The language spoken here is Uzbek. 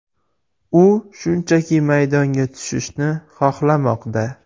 U shunchaki maydonga tushishni xohlamoqda.